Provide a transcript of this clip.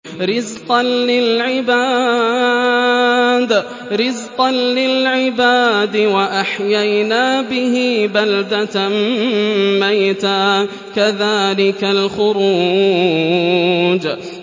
رِّزْقًا لِّلْعِبَادِ ۖ وَأَحْيَيْنَا بِهِ بَلْدَةً مَّيْتًا ۚ كَذَٰلِكَ الْخُرُوجُ